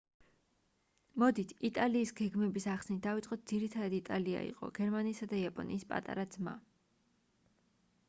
მოდით იტალიის გეგმების ახსნით დავიწყოთ ძირითადად იტალია იყო გერმანიისა და იაპონიის პატარა ძმა